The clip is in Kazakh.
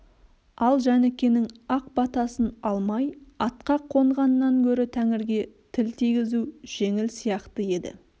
ал жәнікенің ақ батасын алмай атқа қонғаннан гөрі тәңірге тіл тигізу жеңіл сияқты еді